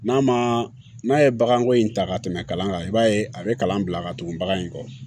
N'a ma n'a ye baganko in ta ka tɛmɛ kalan kan i b'a ye a bɛ kalan bila ka tugu bagan in kɔ